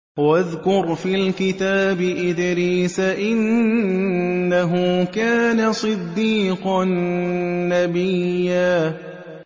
وَاذْكُرْ فِي الْكِتَابِ إِدْرِيسَ ۚ إِنَّهُ كَانَ صِدِّيقًا نَّبِيًّا